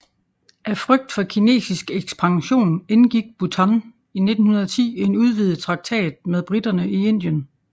Af frygt for kinesisk ekspansion indgik Bhutan i 1910 en udvidet traktat med briterne i Indien